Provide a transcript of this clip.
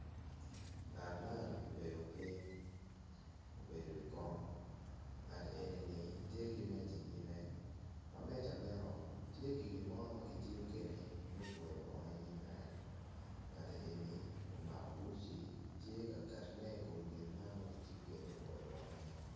Ngat man obedo ping obedo i wi kom, ngat enini tye ki meca i nyime, i meca meno tye ki gimo makitiyo kwede me kwoyo bongo inyim en, engat eni omako uci tye ka ketone i kom gin man makitiyo kwede me kwoyo bongo ni.